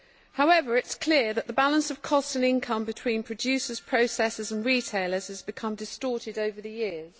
However, it is clear that the balance of cost and income between producers, processors and retailers has become distorted over the years.